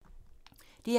DR2